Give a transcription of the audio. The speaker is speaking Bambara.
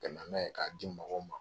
Ka na n'a ye k'a di mɔgɔw ma.